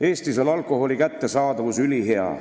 Eestis on alkoholi kättesaadavus ülihea.